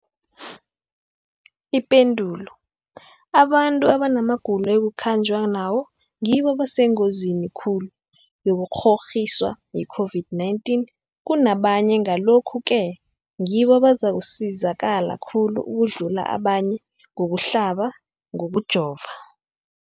Ipendulo, abantu abanamagulo ekukhanjwa nawo ngibo abasengozini khulu yokukghokghiswa yi-COVID-19 kunabanye, Ngalokhu-ke ngibo abazakusizakala khulu ukudlula abanye ngokuhlaba, ngokujova.